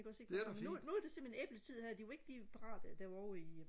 ikke også ikke nu nu er det simpelthen æbletid her de var ikke helt parate da jeg var ovre i